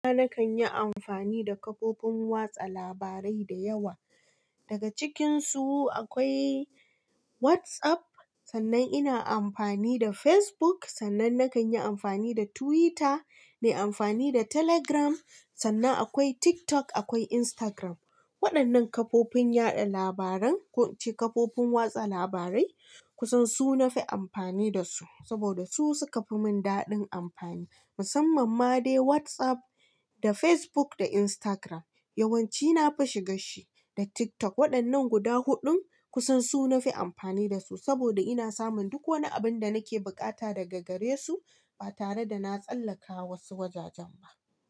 Nima na kan yi amfani da kafofin watsa labarai dayawa. Daga cikinsu akwai WhatsApp, sannan ina amfani da Facebook, sannan na kan yi amfani da Twitter, na yi amfani da Telegram, sannan akwai TikTok, akwai Instagram. Waɗannan kafofin yaɗa labaran, ko ce kafofin watsa labarai kusan su na fi amfani da su. Saboda su suka fi mun daɗin amfani. Musamman ma dai WhatsApp da Facebook da Instagram. Yawanci na fi shiga shi da TikTok. Waɗannan guda huɗun kusan su na fi amfani da su saboda ina samun duk wani abun da nake bukata daga gare su ba tare da na tsallaka wasu wajajen ba.